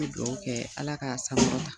Me duwawu kɛɛ Ala k'a saŋɔrɔta.